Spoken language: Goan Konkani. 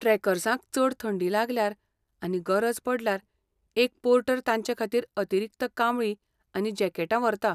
ट्रॅकर्सांक चड थंडी लागल्यार आनी गरज पडल्यार एक पोर्टर तांचेखातीर अतिरिक्त कांबळी आनी जॅकेटां व्हरता.